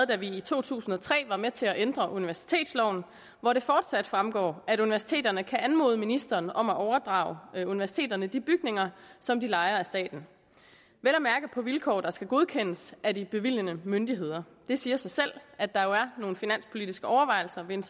da vi i to tusind og tre var med til at ændre universitetsloven hvor det fortsat fremgår at universiteterne kan anmode ministeren om at overdrage universiteterne de bygninger som de lejer af staten vel at mærke på vilkår der skal godkendes af de bevilgende myndigheder det siger sig selv at der er nogle finanspolitiske overvejelser ved en